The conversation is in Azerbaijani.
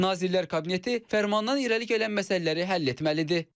Nazirlər Kabineti fərmandan irəli gələn məsələləri həll etməlidir.